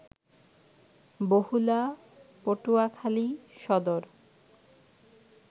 Bahula, Patuakhali Sadar